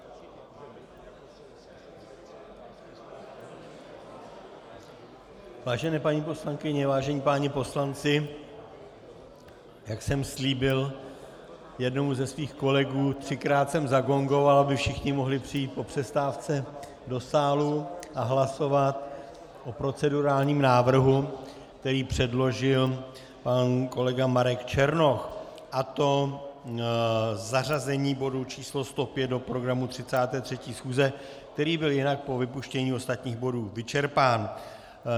Vážené paní poslankyně, vážení páni poslanci, jak jsem slíbil jednomu ze svých kolegů, třikrát jsem zagongoval, aby všichni mohli přijít po přestávce do sálu a hlasovat o procedurálním návrhu, který předložil pan kolega Marek Černoch, a to zařazení bodu číslo 105 do programu 33. schůze, který byl jinak po vypuštění ostatních bodů vyčerpán.